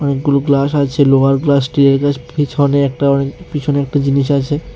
অনেকগুলো গ্লাস আছে লোহার গ্লাস স্টিলের গ্লাস পিছনে একটা মানে পিছনে একটা জিনিস আছে।